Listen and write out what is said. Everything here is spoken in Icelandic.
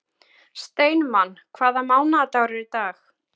Steinmann, hvaða mánaðardagur er í dag?